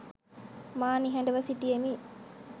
මා නිහඩව සිටියෙමි